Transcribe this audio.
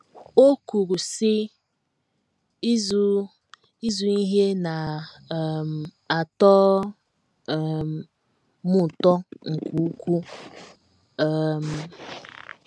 O kwuru, sị: “ Ịzụ Ịzụ ihe na - um atọ um m ụtọ nke ukwuu. um ”